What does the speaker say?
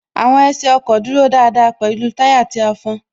Àwọn ẹsẹ ọkọ̀ dúró dáadáa pẹ̀lú táyà tí a fọn